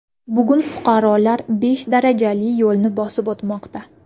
Bugun fuqarolar besh darajali yo‘lni bosib o‘tmoqda.